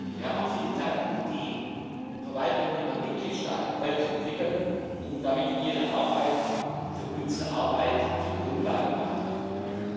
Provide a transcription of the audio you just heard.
Wir haben auch viel getan, um die Verwaltungen der Mitgliedstaaten weiterzuentwickeln, um damit ihre Arbeit für unsere Arbeit zur Grundlage machen zu können.